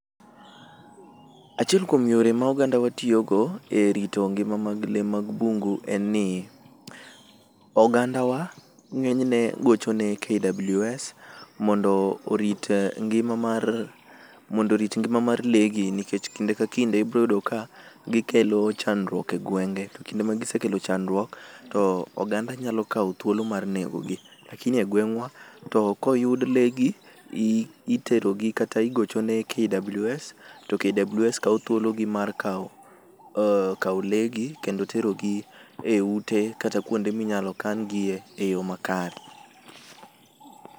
Achiel kuom yore ma oganda wa tiyogo e rito e ngima mag lee mag bungu, en ni oganda wa ng'enyne gocho ne KWS mondo orit ng'ima mar, mondo orit ngima mar lee gi nikech kinde ka kinde ibiro yudo ka gikelo chandruok e gweng'e to kinde magisekelo chandruok to oganda nyalo kawo thuolo mar nego gi, lakini e gweng'wa koyud lee gi, itero gi kata igocho ne KWS to KWS kawo thuologi mar kawo, kawo lee gi kendo terogi e ute kata kwonde minyalo kan giye makare.